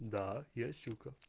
да я сука